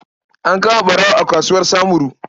An kama ɓarawo a kasuwar Samuru.